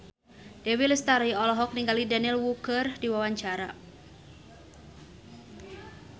Dewi Lestari olohok ningali Daniel Wu keur diwawancara